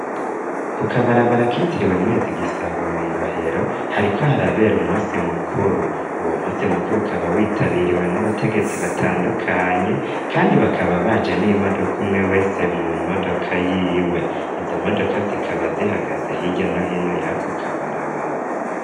Ku kabarabara kitiriwe mwezi gisabo mwirohero hari ko hari abera umusi mukuru uwo musi mukuru ukaba witabiriwe n'abategetsi batandukanye kandi bakaba baje n'imodoka umwe wese mu modoka y'iwe izo modoka zikaba zihagaze higya no hino yako kabarabara.